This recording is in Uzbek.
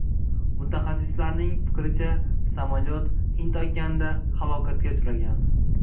Mutaxassislarning fikricha, samolyot Hind okeanida halokatga uchragan.